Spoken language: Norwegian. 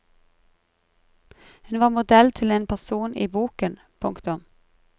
Hun var modell til en person i boken. punktum